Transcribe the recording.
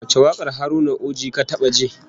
Wace wakar Haruna Uji ka taba ji?